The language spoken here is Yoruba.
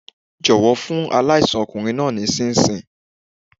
Jọ̀wọ́ fún aláìsàn ọkùnrin naa ní ṣinṣin.